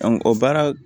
o baara